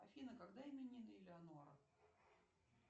афина когда именины элеонора